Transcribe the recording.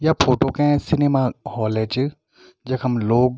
या फोटो कै cinema hall च जखम लोग --